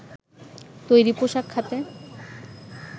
তৈরি পোশাক খাতে